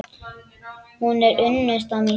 Hún er unnusta mín!